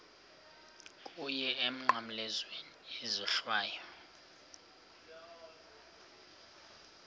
kuwe emnqamlezweni isohlwayo